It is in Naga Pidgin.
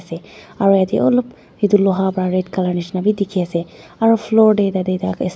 aru idey olop itu luha para red colour nishina bi dikhi ase aru floor dey tate dak.